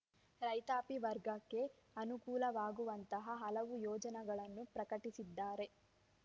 ರೈತಾಪಿ ವರ್ಗಕ್ಕೆ ಅನುಕೂಲವಾಗುವಂತಹ ಹಲವು ಯೋಜನೆಗಳನ್ನು ಪ್ರಕಟಿಸಿದ್ದಾರೆ